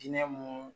Diinɛ mun